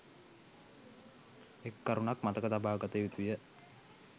එක් කරුණක් මතක තබාගත යුතුය.